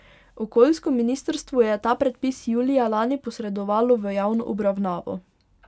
Okoljsko ministrstvo je ta predpis julija lani posredovalo v javno obravnavo.